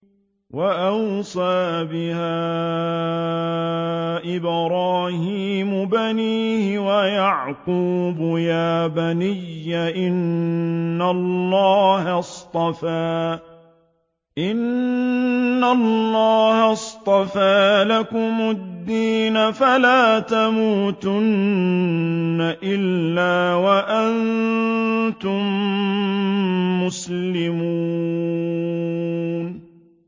وَوَصَّىٰ بِهَا إِبْرَاهِيمُ بَنِيهِ وَيَعْقُوبُ يَا بَنِيَّ إِنَّ اللَّهَ اصْطَفَىٰ لَكُمُ الدِّينَ فَلَا تَمُوتُنَّ إِلَّا وَأَنتُم مُّسْلِمُونَ